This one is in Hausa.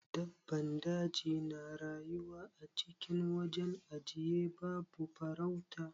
Dabban daji na rayuwa acikin wajen ajiye babu farauta.